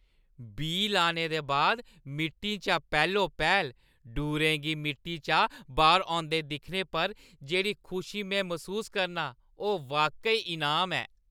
बीऽ लाने दे बाद मिट्टी चा पैह्‌लो पैह्‌ल ङूरें गी मिट्टी चा बाह्‌र औंदे दिक्खने पर जेह्‌ड़ी खुशी में मसूस करनां ओह् बाकई इनाम ऐ।